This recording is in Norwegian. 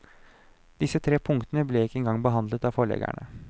Disse tre punktene ble ikke en gang behandlet av forleggerne.